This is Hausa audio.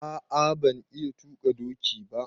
A'a ban iya tuƙa ɗoki ba.